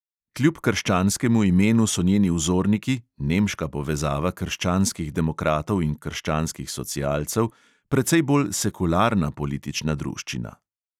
Kljub krščanskemu imenu so njeni vzorniki, nemška povezava krščanskih demokratov in krščanskih socialcev, precej bolj sekularna politična druščina.